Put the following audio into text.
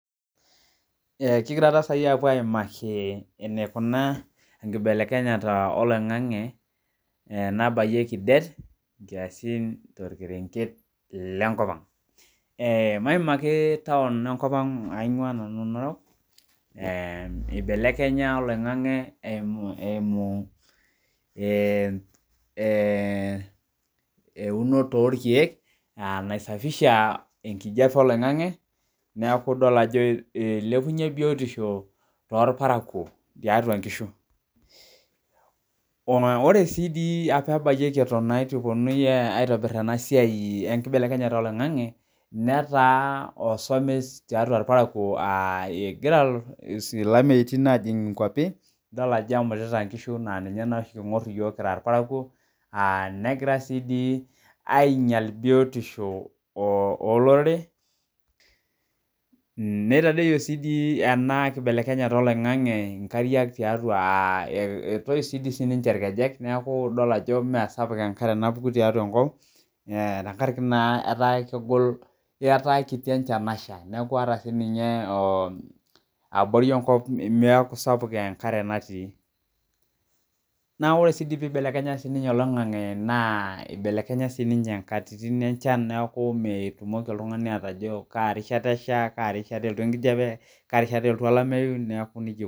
Kigira taa sai apuo aimaki enikunaa enkibelekenyata oloing'ang'e nabayieki det, nkiasin torkerenket lenkop ang. Maimaki taon enkop ang aing'ua nanu Narok, ibelekenya oloing'ang'e eimu eunoto orkeek, naisafisha enkijape oloing'ang'e, neeku idol ajo ilepunye biotisho torparakuo tiatua nkishu. Ore si di apa abayieki eton itu eponui aitobir enasiai enkibelekenyata oloing'ang'e, netaa osomes tiatua irparakuo egira ilameitin ajing inkwapi, idol ajo emutita nkishu na ninye noshi king'or iyiok kira irparakuo, negira si di ainyal biotisho olorere, nitadoyio si di ena kibelekenyata oloing'ang'e inkariak tiatua ah etoyu si di ninche irkejek, neeku idol ajo mesapuk enkare napuku tiatua enkop, tenkaraki naa etaa kegol etaa kiti enchan nasha. Neeku ata sininye abori enkop meeku sapuk enkare natii. Na ore si di pibelekenya sinye oloing'ang'e naa, ibelekenya sininye nkatitin enchan neku mitumoki oltung'ani atayio kaa rishata esha, kaa rishata elotu enkijape, kaa rishata elotu olameyu, neeku nejia